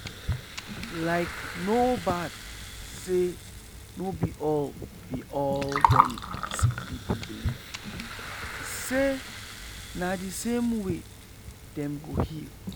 likee no bad say no be all be all dem sick pipu believe say na the same way dem go heal.